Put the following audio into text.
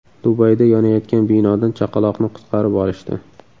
Dubayda yonayotgan binodan chaqaloqni qutqarib olishdi.